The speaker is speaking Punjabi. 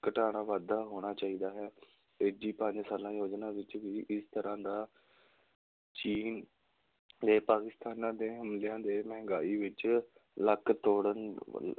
ਘਟਾਉਣਾ ਵਾਧਾ ਹੋਣਾ ਚਾਹੀਦਾ ਹੈ ਤੀਜੀ ਪੰਜ ਸਾਲਾ ਯੋਜਨਾ ਵਿੱਚ ਵੀ ਇਸ ਤਰ੍ਹਾਂ ਦਾ ਚੀਨ ਤੇ ਪਾਕਸਿਤਾਨਾਂ ਦੇ ਹਮਲਿਆਂ ਦੇ ਮਹਿੰਗਾਈ ਵਿੱਚ ਲੱਕ ਤੋੜਨ